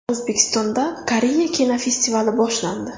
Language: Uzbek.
O‘zbekistonda Koreya kinofestivali boshlandi.